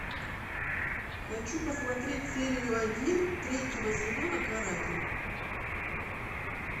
хочу посмотреть серию один третьего сезона каратель